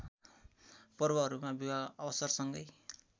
पर्वहरूमा विवाह अवसरसँगै